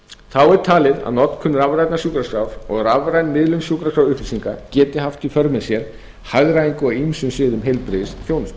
þá er talið að notkun rafrænna sjúkraskráa og miðlun rafrænna sjúkraskrárupplýsinga geti haft í för með sér hagræðingu á ýmsum sviðum heilbrigðisþjónustu